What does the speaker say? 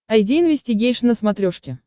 айди инвестигейшн на смотрешке